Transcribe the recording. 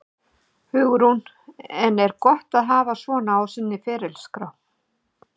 Hugrún: En er gott að hafa svona á sinni ferilskrá?